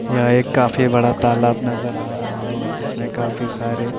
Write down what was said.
यह एक काफी बड़ा तालाब नज़र आ रहा है जिसमें काफी सारे--